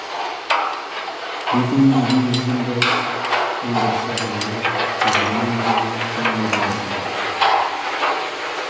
битумның дүниежүзінді өндірісі жылына жүз жиырма миллион тоннадан асады